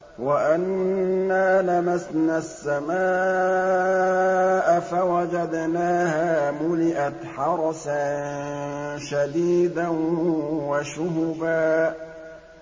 وَأَنَّا لَمَسْنَا السَّمَاءَ فَوَجَدْنَاهَا مُلِئَتْ حَرَسًا شَدِيدًا وَشُهُبًا